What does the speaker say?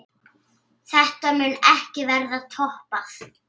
Þetta mun ekki verða toppað.